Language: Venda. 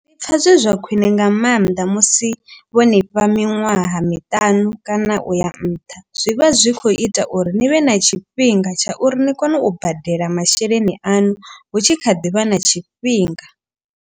Ndi pfha zwe zwa khwine nga maanḓa musi vho ni fha miṅwaha miṱanu kana uya nṱha. Zwi vha zwi kho ita uri ni vhe na tshifhinga tsha uri ni kone u badela masheleni aṋu. Hu tshi kha ḓivha na tshifhinga.